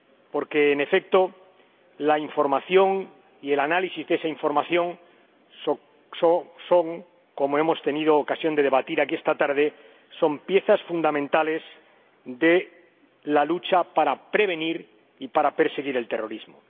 porque, en efecto, la información y el análisis de esa información son, como hemos tenido ocasión de debatir aquí esta tarde, piezas fundamentales de la lucha para prevenir y para perseguir el terrorismo.